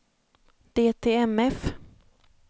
DTMF